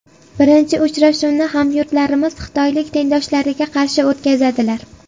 Birinchi uchrashuvni hamyurtlarimiz xitoylik tengdoshlariga qarshi o‘tkazadilar.